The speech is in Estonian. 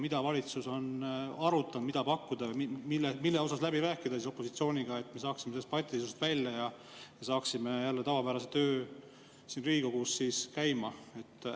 Mida valitsus on arutanud, mida pakutakse või mis tuleks opositsiooniga läbi rääkida, et me saaksime sellest patiseisust välja ja tavapärase töö siin Riigikogus jälle käima?